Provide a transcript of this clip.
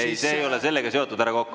Ei, see ei ole sellega seotud, härra Kokk.